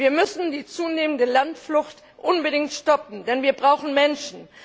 Wir müssen die zunehmende Landflucht unbedingt stoppen, denn wir brauchen Menschen.